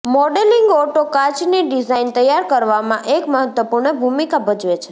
moulding auto કાચ ની design તૈયાર કરવામાં એક મહત્વપૂર્ણ ભૂમિકા ભજવે છે